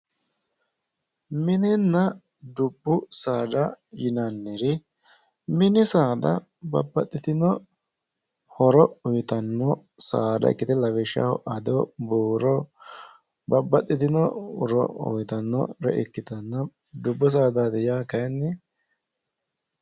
Mininna dubbu saada yinnanniri mini saada babbaxitino horo uyittanno saada ikkite lawishshaho addo buuro babbaxitino horo uyittanore ikkittanna dubbu saadati yaa kayinni.